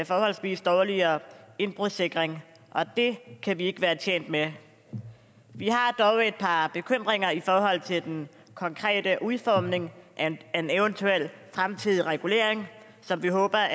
forholdsvis dårligere indbrudssikring og det kan vi ikke være tjent med vi har dog et par bekymringer i forhold til den konkrete udformning af en eventuel fremtidig regulering som vi håber